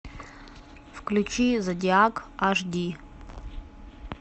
включи зодиак аш ди